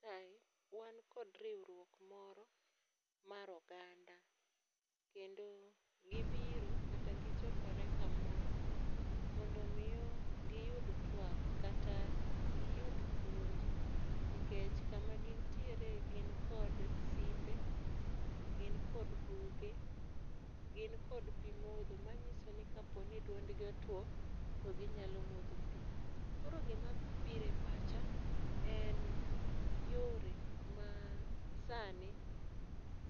Kae, wan kod riwruok moro mar oganda. Kendo gibiro kata gichokore kamoro mondo miyo giyud twak kata giyud puonj nikech kama gintiere gin kod simbe, gin kod buge, gin kod pi modho manyiso ni kapo ni duondgi otuo to ginyalo modho pi. Koro gima biro e pacha en yore ma sani